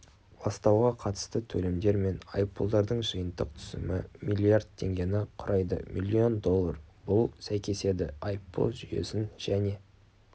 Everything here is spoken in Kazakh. ластауға қатысты төлемдер мен айыппұлдардың жиынтық түсімі миллиард теңгені құрайды миллион доллар бұл сәйкеседі айыппұл жүйесін және